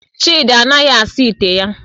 Chidi anaghi asa ite ya